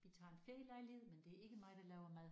Vi tager en ferielejlighed men det er ikke mig der laver mad